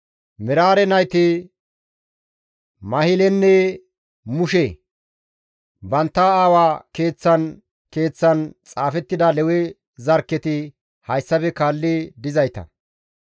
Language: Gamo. Meraare nayti Mahilenne Mushe; bantta aawa keeththan keeththan xaafettida Lewe zarkketi hayssafe kaalli dizayta;